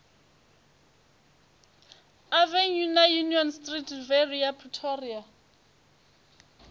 avenue na union street riviera pretoria